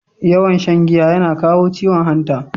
Too much intake of alcohol used kidney failure.